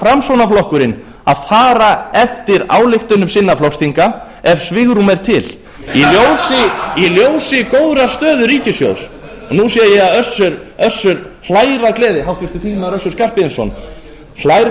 framsóknarflokkurinn að fara eftir ályktunum sinna flokksþinga ef svigrúm er til í ljósi góðrar stöðu ríkissjóðs og nú sé ég að össur hlær af gleði háttvirtur þingmaður össur skarphéðinsson hlær